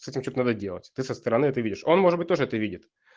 с этим что то надо делать ты со стороны это видишь он может быть тоже это видит